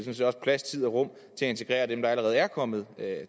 plads tid og rum til at integrere dem der allerede er kommet